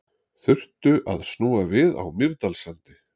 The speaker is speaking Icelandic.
Þurftu að snúa við á Mýrdalssandi